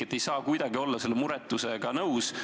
Ma ei saa kuidagi olla selle muretusega nõus.